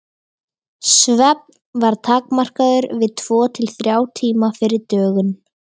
Svefn var takmarkaður við tvo til þrjá tíma fyrir dögun.